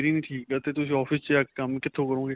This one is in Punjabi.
ਹੀ ਨਹੀਂ ਠੀਕ ਤਾਂ ਤੁਸੀਂ office ਵਿੱਚ ਜਾਕੇ ਕੰਮ ਕਿੱਥੋ ਕਰੋਗੇ